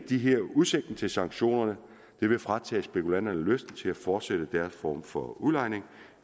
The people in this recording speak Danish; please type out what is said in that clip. udsigten til sanktionerne vil fratage spekulanterne lysten til at fortsætte deres form for udlejning